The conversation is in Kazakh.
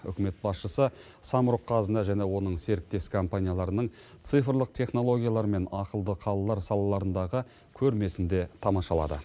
үкімет басшысы самұрық қазына және оның серіктес компанияларының цифрлық технологиялар мен ақылды қалалар салаларындағы көрмесін де тамашалады